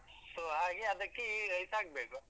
So ಹಾಗೆ ಅದಕ್ಕೆ ಈ rice ಹಾಕ್ಬೇಕು.